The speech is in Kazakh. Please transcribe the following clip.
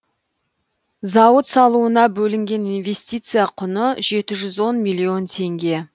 зауыт салуына бөлінген инвестиция құны жеті жүз он миллион теңге